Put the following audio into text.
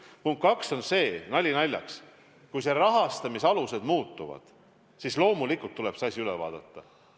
Punkt 2 on see: nali naljaks, kui rahastamisalused muutuvad, siis loomulikult tuleb see kava üle vaadata.